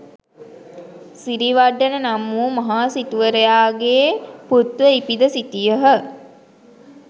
සිරිවඩ්ඩන නම් වූ මහ සිටුවරයාගේ පුත්ව ඉපිද සිටියහ.